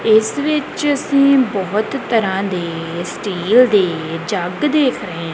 ਇੱਸ ਵਿੱਚ ਅੱਸੀਂ ਬੋਹਤ ਤਰਹਾਂ ਦੇ ਸਟੀਲ ਦੇ ਜੱਗ ਦੇਖ ਰਹੇ ਹੈਂ।